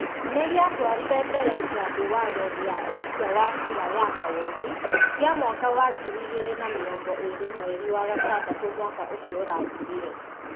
nĩ gĩatwarire mbere kĩambi watho gĩa ũikia wa kura ya mawoni, kĩa mwaka wa ngiri igĩrĩ na mĩrongo ĩrĩ mweri wa gatandatũ mwaka ũcio ũrathirire.